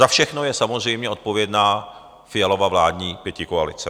Za všechno je samozřejmě odpovědná Fialova vládní pětikoalice.